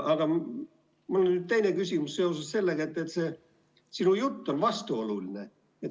Aga minu teine küsimus on seotud sellega, et sinu jutt on vastuoluline.